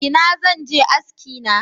Ina zan je aski na?